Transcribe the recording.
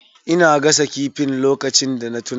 Ina gasa kifin lokacin da na tuna.